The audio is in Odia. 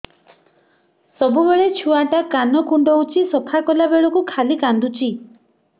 ସବୁବେଳେ ଛୁଆ ଟା କାନ କୁଣ୍ଡଉଚି ସଫା କଲା ବେଳକୁ ଖାଲି କାନ୍ଦୁଚି